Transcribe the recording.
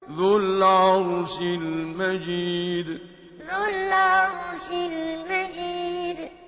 ذُو الْعَرْشِ الْمَجِيدُ ذُو الْعَرْشِ الْمَجِيدُ